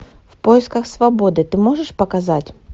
в поисках свободы ты можешь показать